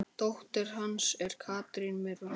Dóttir hans er Katrín Mirra.